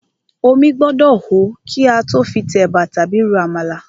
Omí gbọ́dọ̀ hó kí a tó fi tẹ̀bà tàbí ro àmàlà.